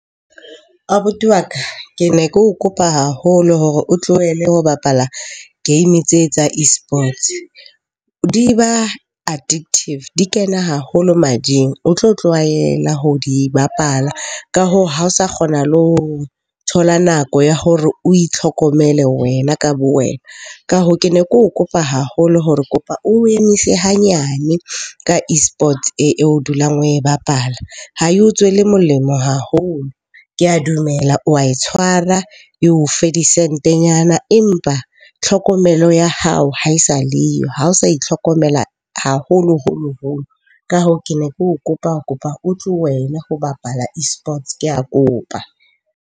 Abuti wa ka ke ne ke o kopa haholo hore o tlohele ho bapala game tse tsa eSports. Di ba addictive, di kena haholo mading, o tlo tlwaela ho di bapala. Ka hoo, ha o sa kgona le ho thola nako ya hore o itlhokomele wena ka bo wena. Ka hoo, ke ne ke o kopa haholo hore kopa o emise hanyane ka eSports e eo dulang o e bapala, ha eo tswele molemo haholo. Ke a dumela wa e tshwara eo fe disentenyana, empa tlhokomelo ya hao ha e sa le yo, ha o sa itlhokomela haholoholo-holo. Ka hoo ke ne ke o kopa, ke kopa o tlohele ho bapala eSports. Ke a kopa.